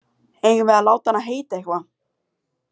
Eigum við að láta hana heita eitthvað?